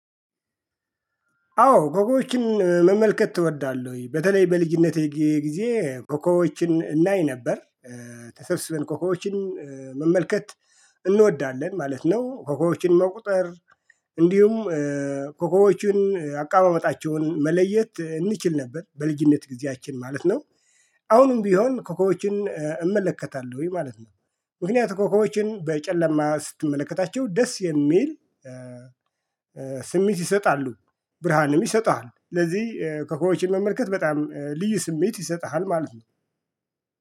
አዎ ኮኮቦችን መመልከት እወዳለሁኝ በተለይ በልጅነቴ ጊዜ ኮኮቦችን እናይ ነበር ተሰብስበን ኮኮቦችን መመልከት እንወዳለን ማለት ነው። ኮኮቦችን መቁጠር። እንዲሁም ኮኮቦችን አቀማመጣቸውን መለየት እንችል ነበር በልጅነት ጊዜያችን ማለት ነው። አሁንም ቢሆን ኮከቦችን እመለከታለሁኝ ማለት ነው። ምክንያቱም ኮከቦችን በጨለማ ስትመለከታቸው ደስ የሚል ስሜት ይሰጣሉ። ብርሃንም ይሰጥሃል ስለዚህ ኮከቦችን መመልከት በጣም ልዩ ስሜት ይሰጥሃል ማለት ነው